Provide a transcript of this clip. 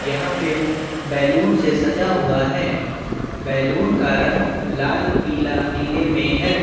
यहाँ पे बेलून से सजा हुआ है बेलून का रंग लाल पीला नीले मे है।